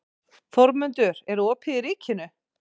Þórmundur, er opið í Ríkinu?